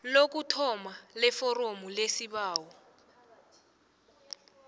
lokuthoma leforomo lesibawo